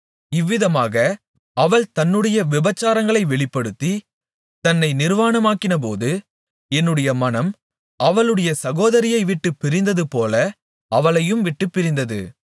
இவ்விதமாக அவள் தன்னுடைய விபசாரங்களை வெளிப்படுத்தி தன்னை நிர்வாணமாக்கினபோது என்னுடைய மனம் அவளுடைய சகோதரியை விட்டுப் பிரிந்ததுபோல அவளையும் விட்டுப் பிரிந்தது